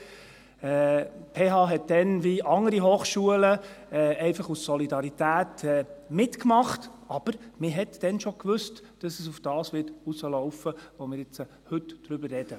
Die PH hat damals, wie andere Hochschulen, einfach aus Solidarität mitgemacht, aber man wusste damals schon, dass es auf das hinauslaufen würde, worüber wir jetzt heute reden.